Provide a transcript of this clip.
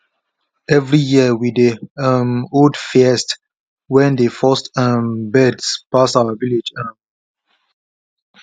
every year we dey um hold feast wen dey first um birds pass our village um